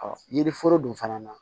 yiri foro dun fana na